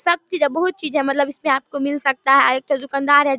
सब चीज है बहुत चीज है मतलब इसमें आपको मिल सकता है एक ठो दुकानदार है।